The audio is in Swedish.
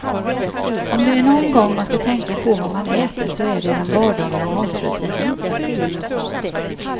Om det är någon gång man ska tänka på vad man äter så är det i den vardagliga matrutinen.